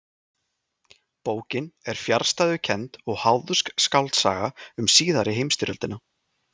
Bókin er fjarstæðukennd og háðsk skáldsaga um síðari heimstyrjöldina.